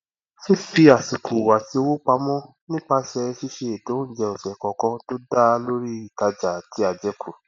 fífi àsìkò àti owó pamọ nípasẹ ṣiṣe ètò oúnjẹ ọsẹ kọọkan tó dá lórí ìtajà àti àjẹkù